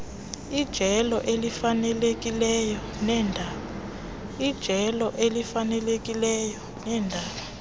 ijelo elifanelekileyo leendaba